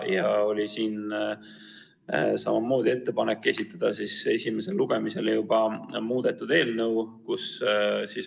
Ja oli samamoodi ettepanek esitada esimesele lugemisele juba muudetud eelnõu.